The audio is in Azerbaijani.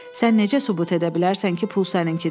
Sən necə sübut edə bilərsən ki, pul səninkidir?